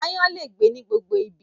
Aáyán lè gbé ní gbogbo ibi